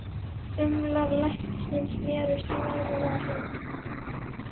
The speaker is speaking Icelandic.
Þumlar læknisins snerust í vanalega hringi.